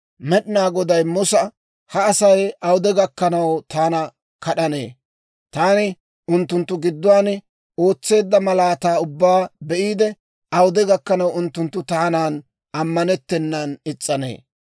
Med'inaa Goday Musa, «Ha Asay awude gakkanaw taana kad'anee? Taani unttunttu gidduwaan ootseedda malaataa ubbaa be'iide, awude gakkanaw unttunttu taanan ammanennan is's'anee?